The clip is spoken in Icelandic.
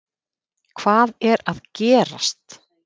HVAÐ ER AÐ GERAST???